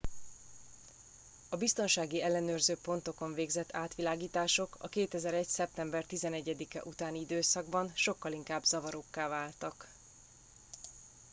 a biztonsági ellenőrző pontokon végzett átvilágítások a 2001. szeptember 11 e utáni időszakban sokkal inkább zavarókká váltak